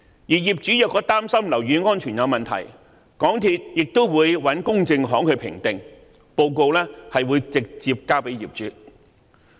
如果業主擔心樓宇安全有問題，港鐵公司亦會找公證行作出評定，報告會直接交給業主。